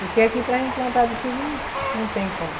Porque aqui para a gente plantar de chuva não não tem como.